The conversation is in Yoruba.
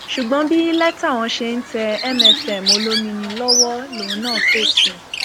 ṣùgbọn bí lẹtà wọn ṣe ń tẹ mfm olomini lọwọ lòun náà fèsì